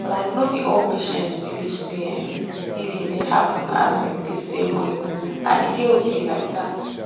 like no be all patients believe say um healing dey happen um the same way and e dey okay like that.